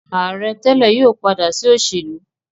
Aare tele yóò pada si oselu.